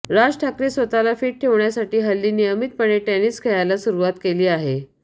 राज ठाकरे स्वतःला फिट ठेवण्यासाठी हल्ली नियमितपणे टेनिस खेळायला सुरुवात केली आहे